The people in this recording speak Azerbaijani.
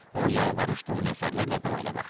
O yalvarış dolu nəzərlərlə Doy elə baxdı.